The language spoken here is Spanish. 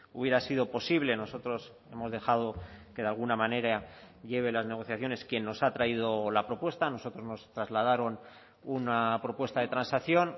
hubiera sido posible nosotros hemos dejado que de alguna manera lleve las negociaciones quien nos ha traído la propuesta a nosotros nos trasladaron una propuesta de transacción